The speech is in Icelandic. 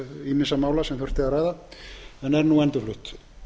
ýmissa mála sem þurfti að ræða en er nú endurflutt